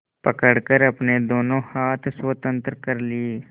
पकड़कर अपने दोनों हाथ स्वतंत्र कर लिए